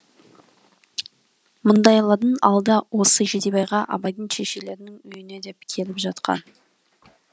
мұндайлардың алды осы жидебайға абайдың шешелерінің үйіне де келіп жатқан